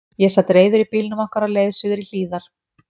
Ég sat reiður í bílnum okkar á leið suður í Hlíðar.